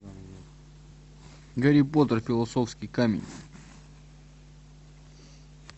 гарри поттер философский камень